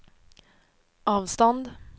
avstånd